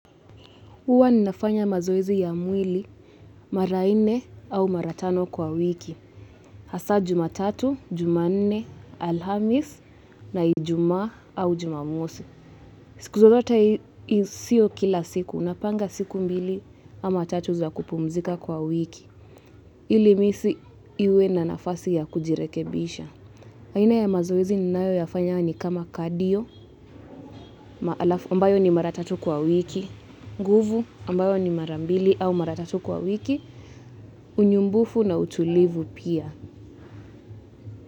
Uwa ninafanya mazoezi ya mwili mara ine au mara tano kwa wiki. Hasa Jumatatu, Jumanne, Alhamisi, na Ijumaa au Jumamosi. Siku zozote sio kila siku. Unapanga siku mbili ama tatu za kupumzika kwa wiki ili misi iwe na nafasi ya kujirekebisha aina ya mazoezi ninayo yafanya ni kama kadio, ambayo ni maratatu kwa wiki, nguvu ambayo ni marambili au maratatu kwa wiki, unyumbufu na utulivu pia.